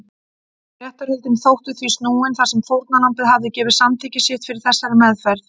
Réttarhöldin þóttu því snúin þar sem fórnarlambið hafði gefið samþykki sitt fyrir þessari meðferð.